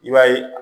I b'a ye